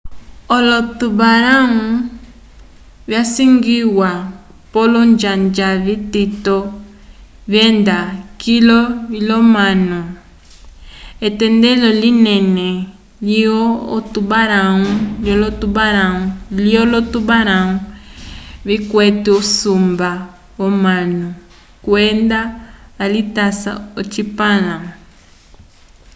olo-tubarão visangiwa pole olonjanja vitito vyenda kilu lyomanu etendelo linene lyolo tubarão vikwete usumba yomanu kwenda valitasa ocipãla